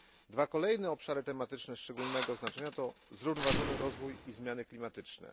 Dwa kolejne obszary tematyczne szczególnego znaczenia to zrównoważony rozwój i zmiany klimatyczne.